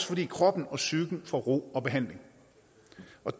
fordi kroppen og psyken får ro og behandling